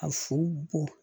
A fu bɔ